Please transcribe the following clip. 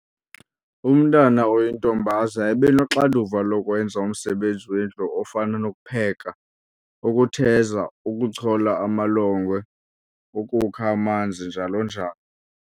Umntwana oyintombaza ebenoxanduva lokwenza umsebenzi wendlu ofana nokupheka, ukutheza, ukuchola amalongwe, ukukha amanzi njalo-njalo.